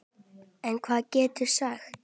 En hvað geturðu sagt?